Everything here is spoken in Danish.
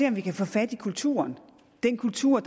om vi kan få fat i kulturen den kultur